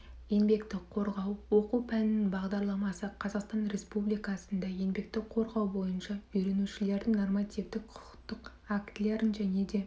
еңбекті қорғау оқу пәнінің бағдарламасы қазақстан республикасында еңбекті қорғау бойынша үйренушілердің нормативтік құқықтық актілерін және де